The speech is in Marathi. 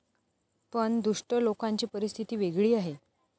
पण दुष्ट लोकांची परिस्थिती वेगळी आहे.